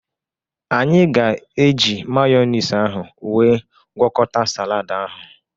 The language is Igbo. Anyị ga-eji mayọnis ahụ wee gwọkọta salad ahụ.